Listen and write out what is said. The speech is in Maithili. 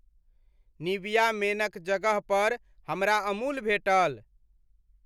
निविआ मेन क जगह पर हमरा अमूल भेटल।